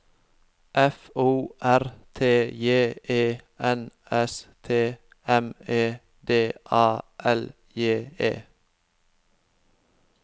F O R T J E N S T M E D A L J E